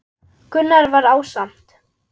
Gunnar var ásamt